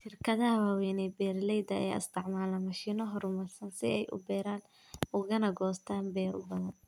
Shirkadaha waaweyn ee beeralayda ayaa isticmaala mashiino horumarsan si ay u beeraan ugana goostaan ??beero badan.